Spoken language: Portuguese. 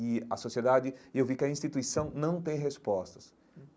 E a sociedade e eu vi que a instituição não tem respostas hum.